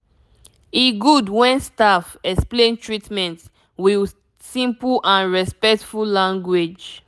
e good when staff explain treatment with simple and respectful language